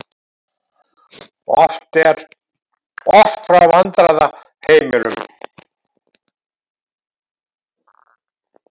Oft frá vandræðaheimilum.